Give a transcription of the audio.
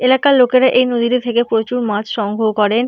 এলাকার লোকেরা এই নদী থেকে প্রচুর মাছ সংগ্রহ করেন।